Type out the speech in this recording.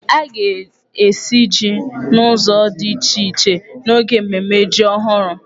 A ga-esi jí n'ụzọ di iche iche n'oge mmemme jí ọhụrụ.